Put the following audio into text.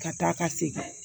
Ka taa ka segin